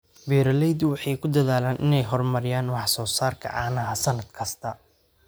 Beeraleydu waxay ku dadaalaan inay horumariyaan wax soo saarka caanaha sannad kasta.